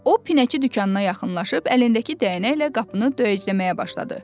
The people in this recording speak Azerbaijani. O pinəçi dükanına yaxınlaşıb əlindəki dəynəklə qapını döyəcləməyə başladı.